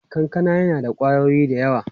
Kankana yana da ƙwayoyi da yawa.